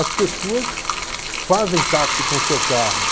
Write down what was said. As pessoas fazem táxi com o seu carro.